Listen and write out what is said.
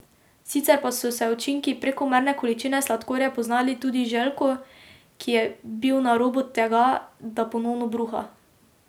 Sicer pa so se učinki prekomerne količine sladkorja poznali tudi Željku, ki je bil na robu tega, da ponovno bruha.